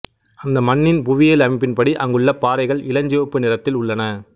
அந்த மண்ணின் புவியியல் அமைப்பின்படி அங்குள்ள பாறைகள் இளஞ்சிவப்பு நிறத்தில் உள்ளன